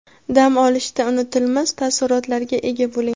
dam olishda unutilmas taassurotlarga ega bo‘ling!.